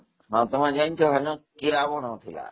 ହଁ, ତମେ ଜାଣିଛ ନ କିଆବଣ ସବୁ ଥିଲା